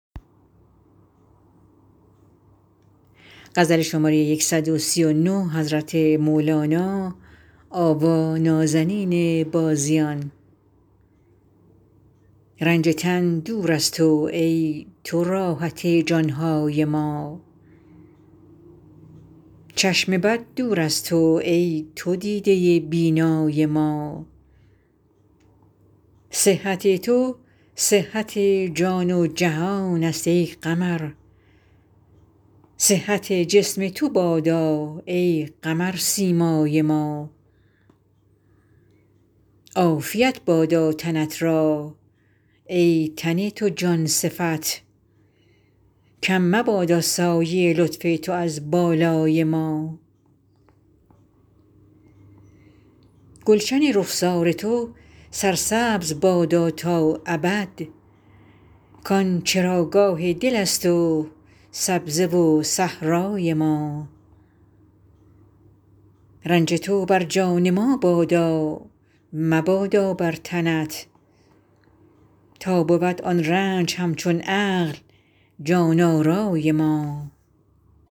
رنج تن دور از تو ای تو راحت جان های ما چشم بد دور از تو ای تو دیده بینای ما صحت تو صحت جان و جهانست ای قمر صحت جسم تو بادا ای قمرسیمای ما عافیت بادا تنت را ای تن تو جان صفت کم مبادا سایه لطف تو از بالای ما گلشن رخسار تو سرسبز بادا تا ابد کان چراگاه دلست و سبزه و صحرای ما رنج تو بر جان ما بادا مبادا بر تنت تا بود آن رنج همچون عقل جان آرای ما